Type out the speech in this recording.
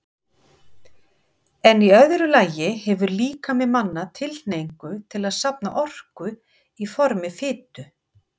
En í öðru lagi hefur líkami manna tilhneigingu til að safna orku í formi fitu.